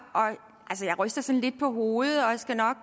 jeg ryster sådan lidt på hovedet og skal nok